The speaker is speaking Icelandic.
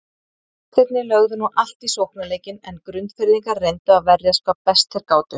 Gestirnir lögðu nú allt í sóknarleikinn en Grundfirðingar reyndu að verjast hvað best þeir gátu.